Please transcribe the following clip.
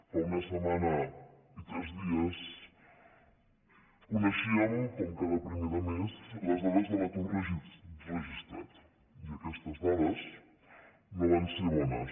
fa una setmana i tres dies coneixíem com cada primer de mes les dades de l’atur registrat i aquestes dades no van ser bones